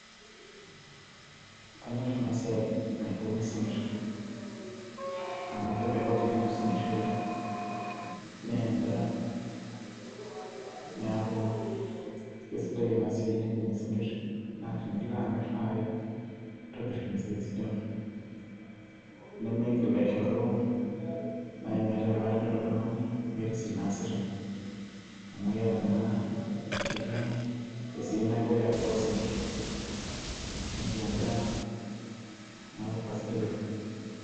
kanyorr ena siai naibung'i isinkirr amu kemelok nyenye osinkirri oleng naa endaa niaku kesidai ena siai naibung'i isinkirr naa tenilo amirr naaji naa intobirr impisai sidan nemeigil aishoru naaji metaa ketonita oltung'ani meeta esiai naasita amu iyata naa ketii esiai napuoi apuo ayau isinkirr netii endaa neeku kasidai oleng.